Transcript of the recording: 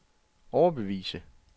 overbevise